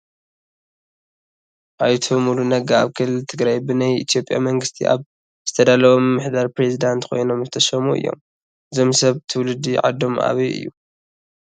ኣይተ ሙሉ ነጋ ኣብ ክልል ትግራይ ብናይ ኢትዮጵያ መንግስቲ ኣብ ዝተዳለወ ምምሕዳር ፕሬዝዳንት ኮይኖም ዝተሸሙ እዮም፡፡ እዞም ሰብ ትውልዲ ዓዶም ኣበይ እዩ?